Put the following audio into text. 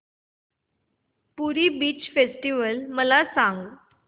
पुरी beach festival मला सांग